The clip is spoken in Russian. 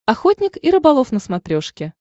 охотник и рыболов на смотрешке